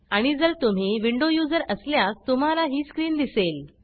आणि जर तुम्ही विंडो यूज़र असल्यास तुम्हाला ही स्क्रीन दिसेल